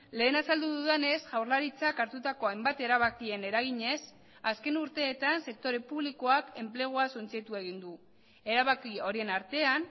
lehen azaldu dudanez jaurlaritzak hartutako hainbat erabakien eraginez azken urteetan sektore publikoak enplegua suntsitu egin du erabaki horien artean